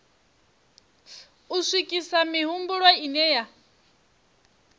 u swikisa mihumbulo ine ya